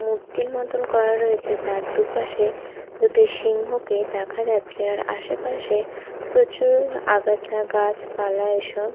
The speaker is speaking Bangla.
মূর্তির মতোন করা রয়েছে যার দুপাশে দুটো সিংহকে দেখা যাচ্ছে আর আশেপাশে প্রচুর আগাছা গাছপালা এসব--